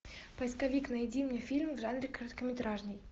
поисковик найди мне фильм в жанре короткометражный